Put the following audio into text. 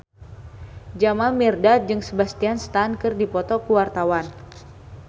Jamal Mirdad jeung Sebastian Stan keur dipoto ku wartawan